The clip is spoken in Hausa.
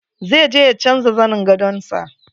Zai je ya canja zanin gadon sa.